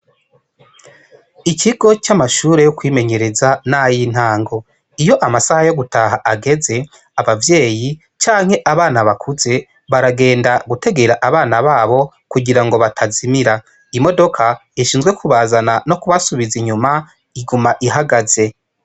Ikigo c'amashure yo kwimenyereza n'ayo intango iyo amasaha yo gutaha ageze abavyeyi canke abana bakuze baragenda gutegera abana babo kugira ngo batazimira imodoka ishinzwe kubazana no kubasubiza inyuma iguma ihagaze.